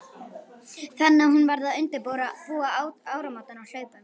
Þannig að hún varð að undirbúa áramótin á hlaupum.